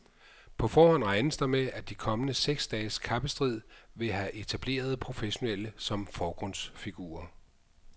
På forhånd regnes der med, at de kommende seks dages kappestrid vil have etablerede professionelle som forgrundsfigurer.